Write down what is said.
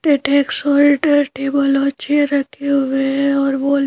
टे टेक्स साल्ट हैं टेबल और चैअर रखे हुए हैं और बॉल --